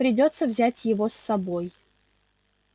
придётся взять его с собой